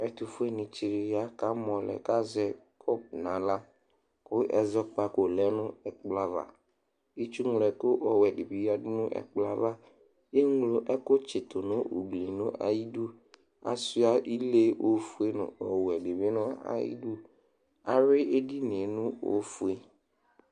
Ɛtufueni tsɩ ya kʊ amolɛ kʊ azɛ kɔpʊ nu axla kʊ ɛzɔkpzko lɛnu ɛkplo ava kʊ itsu ŋloɛku dibɩ lenʊ ku ekuɛdibi yadu nu ɛkplɔɛva eŋlo ɛkʊ tsɩtunu ʊglɩ nʊ ayɩdu achua ɩle owɔɛ dɩbɩ nu ayidʊ awuɩ ediniye nʊ ofʊe